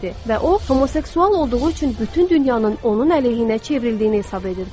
Və o homoseksual olduğu üçün bütün dünyanın onun əleyhinə çevrildiyini hesab edirdi.